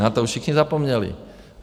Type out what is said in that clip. Na to už všichni zapomněli.